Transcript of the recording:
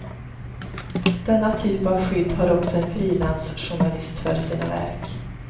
Denna typ av skydd har också en frilansjournalist för sina verk.